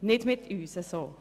So nicht mit uns!